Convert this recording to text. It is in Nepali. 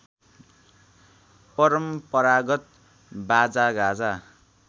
परम्परागत बाजागाजा